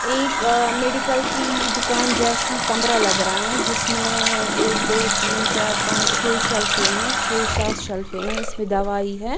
एक अ मेडिकल की दुकान जैसी कमरा लग रहा है जिसमें एक दो तीन चार पांच छह शेल्फे हैं छह सात शल्फे हैं इसमें दवाई है।